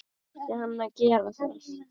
Átti hann að gera það??